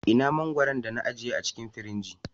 Ina mangwaron da na ajiye a cikin firiji?